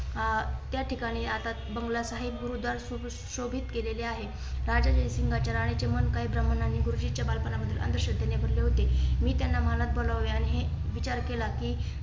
आह त्या ठिकाणी आता बंगला साहिब गुरुद्वारा सुशोभित केलेले आहे. राजा जयसिंग च्या राणीचे मन काही प्रमाणाने गुरुजींचे बालपण अंधश्रद्धेने भरलेले होते. मी त्यांना मनात भारावले आणि विचार केला कि